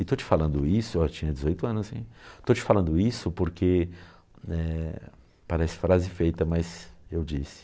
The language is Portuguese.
E estou te falando isso, eu tinha dezoito anos assim, estou te falando isso porque, eh... Parece frase feita, mas eu disse.